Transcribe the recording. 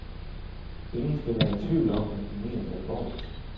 Ingen skal være i tvivl om, at vi mener det alvorligt.